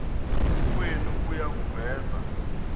kwenu kuya kuveza